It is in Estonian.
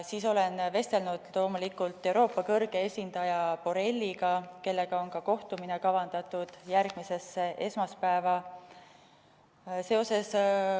Siis olen vestelnud loomulikult Euroopa kõrge esindaja Borrelliga, kellega on kavandatud järgmiseks esmaspäevaks ka kohtumine.